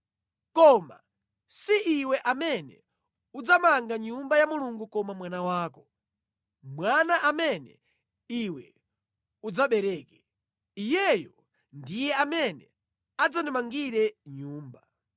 Komatu si iwe amene udzamanga Nyumba ya Mulungu koma mwana wako, mwana amene iwe udzabereke. Iyeyo ndiye amene adzandimangire Nyumba.’